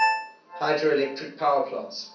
hydroelectric power plants